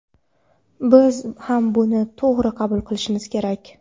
Biz ham buni to‘g‘ri qabul qilishimiz kerak”.